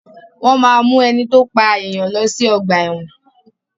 Wọ́n máa mu ẹni to pa èèyàn lọ sí ọ̀gba ẹ̀wọ̀n.